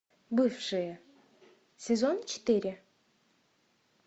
бывшие сезон четыре